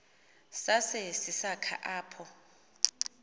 sase sisakha apho